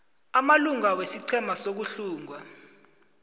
amalunga wesiqhema sokuhlunga